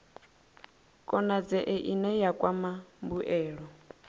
konadzee ine ya kwama mbuelo